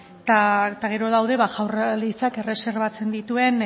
eta gero daude jaurlaritzak erreserbatzen dituen